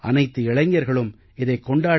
அனைத்து இளைஞர்களும் இதைக் கொண்டாட